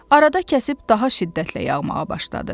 Arada kəsib daha şiddətlə yağmağa başladı.